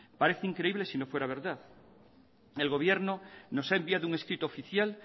parece increíble sino fuera verdad el gobierno nos ha enviado un escrito oficial